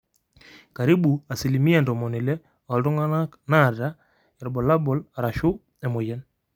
karibu asilimia 60% ooltung'anak naata irbulabol arashuu emoyian.